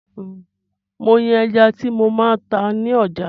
Mo ń yàn ẹja tí mo máa tá ni ọjà